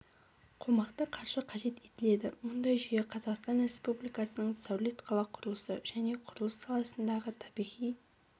қомақты қаржы қажет етіледі мұндай жүйе қазақстан республикасының сәулет қала құрылысы және құрылыс саласындағы табиғи